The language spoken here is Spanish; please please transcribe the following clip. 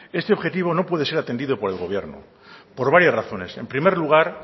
este objetivo no puede ser atendido por el gobierno por varias razones en primer lugar